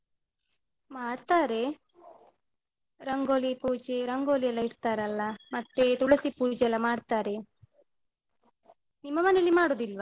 ಮಾಡ್ತಾರೆ. ರಂಗೋಲಿ ಪೂಜೆ ರಂಗೋಲಿಯೆಲ್ಲ ಇಡ್ತಾರಲ್ಲ, ಮತ್ತೆ ತುಳಸಿ ಪೂಜೆಯೆಲ್ಲ ಮಾಡ್ತಾರೆ. ನಿಮ್ಮ ಮನೆಯಲ್ಲಿ ಮಾಡುದಿಲ್ವಾ?